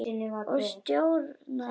Ég stjórna engu.